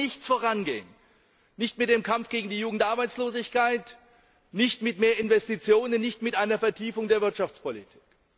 Es wird mit nichts vorangehen, nicht mit dem Kampf gegen die Jugendarbeitslosigkeit, nicht mit mehr Investitionen, nicht mit einer Vertiefung der Wirtschaftspolitik.